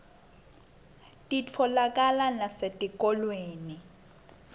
titfolakala nasetikolweni